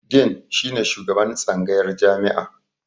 Din shi ne shugaban tsangayar jami'a.